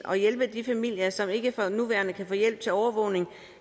og hjælpe de familier som ikke for nuværende kan få hjælp til overvågning